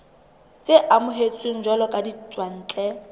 tse amohetsweng jwalo ka ditswantle